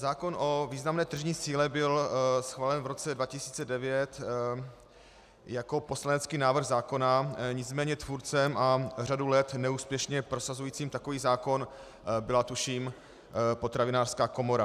Zákon o významné tržní síle byl schválen v roce 2009 jako poslanecký návrh zákona, nicméně tvůrcem a řadu let neúspěšně prosazujícím takový zákon byla tuším Potravinářská komora.